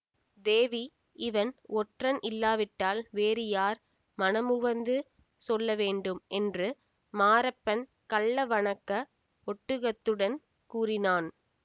தேவி இவன் ஒற்றன் இல்லாவிட்டால் வேறு யார் மனமுவந்து சொல்லவேண்டும் என்று மாரப்பன் கள்ள வணக்க ஒடுக்கத்துடன் கூறினான்